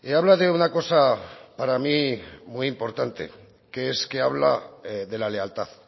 habla de una cosa para mí muy importante que es que habla de la lealtad